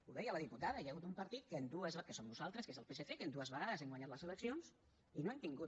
ho deia la diputada hi ha hagut un partit que en dues que som nosaltres que és el psc vegades hem guanyat les eleccions i no hem tingut